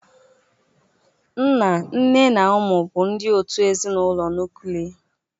Nna, nne na ụmụ bụ ndị òtù ezinụlọ nuklia.